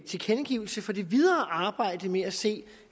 tilkendegivelse for det videre arbejde med at se